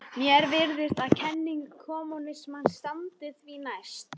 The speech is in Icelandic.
Mér virðist að kenning kommúnismans standi því næst.